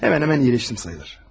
Demək olar ki, sağaldım.